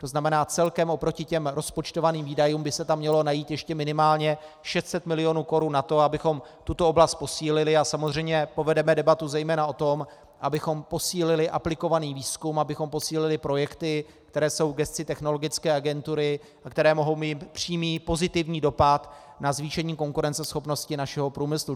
To znamená, celkem oproti těm rozpočtovaným výdajům by se tam mělo najít ještě minimálně 600 milionů korun na to, abychom tuto oblast posílili, a samozřejmě povedeme debatu zejména o tom, abychom posílili aplikovaný výzkum, abychom posílili projekty, které jsou v gesci Technologické agentury, které mohou mít přímý pozitivní dopad na zvýšení konkurenceschopnosti našeho průmyslu.